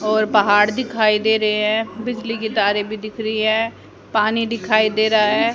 और पहाड़ दिखाई दे रहे हैं बिजली के तारें भी दिख रही हैं पानी दिखाई दे रहा है।